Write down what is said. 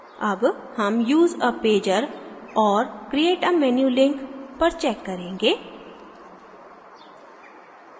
अब हम use a pager और create a menu link पर check करेंगे